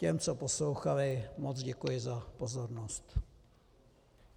Těm, co poslouchali, moc děkuji za pozornost.